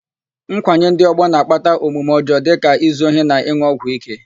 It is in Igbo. Nkwanye ndị ọgbọ na-akpata omume ọjọọ dịka izu ohi na ịn̄ụ ọgwụ íké.